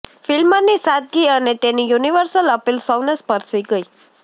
ફ્લ્મિની સાદગી અને તેની યુનિવર્સલ અપીલ સૌને સ્પર્શી ગઈ